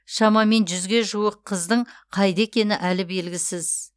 шамамен жүзге жуық қыздың қайда екенін әлі белгісіз